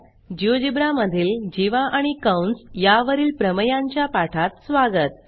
GeoGebra मधील जीवा आणि कंस या वरील प्रमेयांच्या पाठात स्वागत